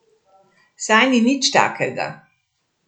Saj ni nič takega.